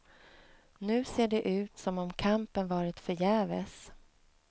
Nu ser det ut som om kampen varit förgäves.